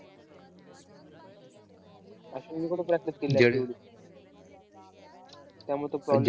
अश्विनने पण त्यामुळे तो problem